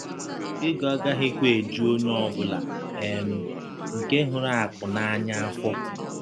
“ Egọ agaghịkwa ejụ ọnye ọ bụla um nke hụrụ akụ̀ n’anya afọ. ”